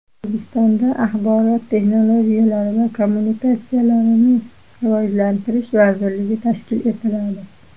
O‘zbekistonda Axborot texnologiyalari va kommunikatsiyalarini rivojlantirish vazirligi tashkil etiladi.